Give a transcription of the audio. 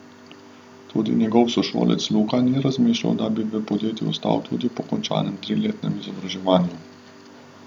Tudi njegov sošolec Luka ni razmišljal, da bi v podjetju ostal tudi po končanem triletnem izobraževanju.